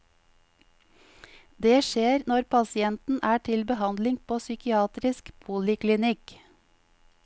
Det skjer når pasienten er til behandling på psykiatrisk poliklinikk.